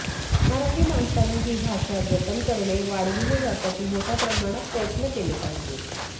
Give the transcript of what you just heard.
मराठी माणसाने ही भाषा जतन करणे वाढविणे यासाठी मोठय़ा प्रमाणात प्रयत्न केले पाहिजेत